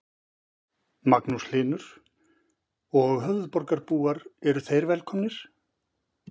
Magnús Hlynur: Og höfuðborgarbúar eru þeir velkomnir?